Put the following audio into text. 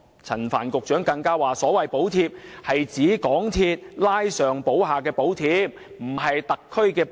陳帆局長更指所謂的補貼，是指港鐵公司拉上補下的補貼，而並非政府的補貼。